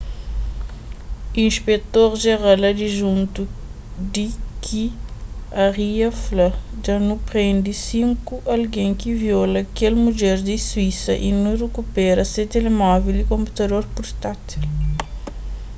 inspektor jeral adijuntu d k arya fla dja nu prende sinku algen ki viola kel mudjer di suísa y nu rikupera se telemóvel y konputador purtátil